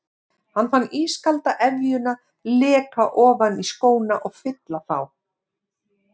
Hann fann ískalda efjuna leka ofan í skóna og fylla þá.